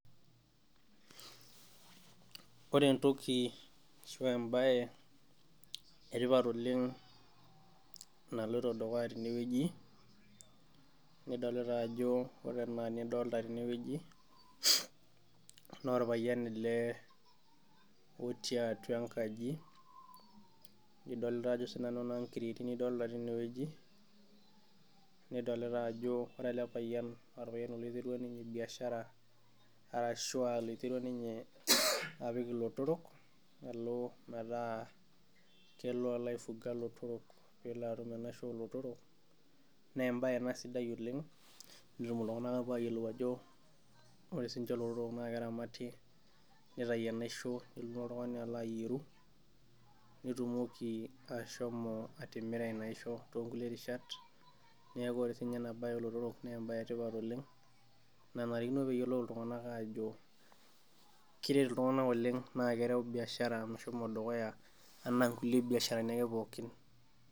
Ore entoki ashu embae etipat oleng natoito dukuya tenewueji nidolita ajo ore kuna tokitin nidolita tenewueji na orpayian ele otii atua enkaji, idolta na ajo sinanu creati tinewueji nidolita ajo ore elepayian na oltungani oiterua ninye biashara arashu a laiterua ninye apik ilotorok alo metaa kelo alo ai fuga lotorok pelo atum enaisho olotorok nembae ena sidai oleng, nepuo ltunganak ayiolou ajo ore sininche lotorok na keramati nitau enaisho nelo na oltungani alo aremu petumokiashomo atimira inaisho tonkulie rishat neaku ore sininye enabae olotorok naembae sidai oleng nanarikino peyiolou ltunganak ajo keret ltunganak oleng na keret biashara meshomo dukuya anaa nkulie biasharani ake pookin.